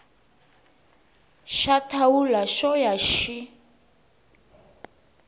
xa thawula xo ya xi